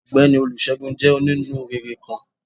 Ọgbẹni Olúsegún jé oní-núréré kán.